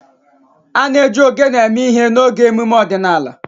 A na-eji ogene eme ihe n'oge emume ọdịnala.